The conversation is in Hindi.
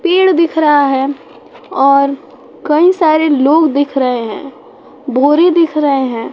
पेड़ दिख रहा है और कई सारे लोग दिख रहे हैं बोरी दिख रहे हैं।